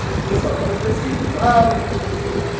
O pessoal fala assim, mas que falta que você faz.